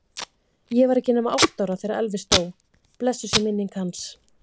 Ég var ekki nema átta ára þegar Elvis dó, blessuð sé minning hans.